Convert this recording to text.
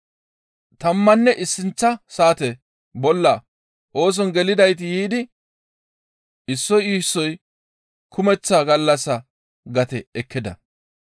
Tammanne issinththa saate bolla ooson gelidayti yiidi issoy issoy kumeththa gallassa gate ekkida.